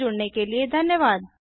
हमसे जुड़ने के लिए धन्यवाद